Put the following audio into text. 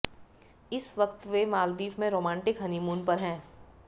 इस वक्त वे मालदीव में रोमांटिक हनीमून पर है